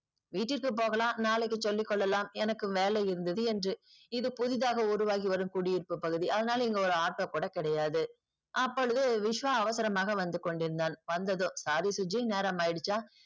வீட்டிற்கு போகலா நாளைக்கு சொல்லி கொள்ளலாம் எனக்கு வேலை இருந்தது என்று இது புதிதாக உருவாகி வரும் குடியிருப்பு பகுதி அதனால் இங்கு ஒரு auto கூட கிடையாது. அப்போழுது விஷ்வா அவசரமாக வந்து கொண்டிருந்தான் வந்ததும் sorry சுஜி நேரமாகிடுச்சா